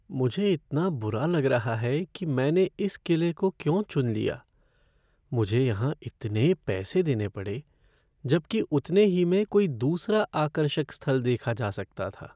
मुझे इतना बुरा लग रहा है कि मैंने इस किले को क्यों चुन लिया! मुझे यहाँ इतने पैसे देने पड़े, जबकि उतने ही में कोई दूसरा आकर्षक स्थल देखा जा सकता था।